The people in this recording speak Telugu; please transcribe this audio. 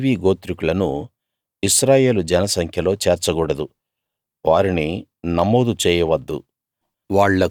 లేవీ గోత్రికులను ఇశ్రాయేలు జనసంఖ్యలో చేర్చకూడదు వారిని నమోదు చేయవద్దు